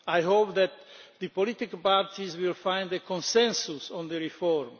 I hope that the political parties will find a consensus on the reform.